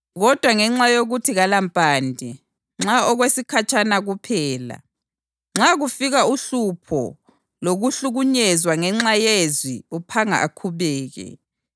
Kodwa ngenxa yokuthi kalampande, nxa okwesikhatshana kuphela. Nxa kufika uhlupho lokuhlukunyezwa ngenxa yelizwi uphanga akhubeke.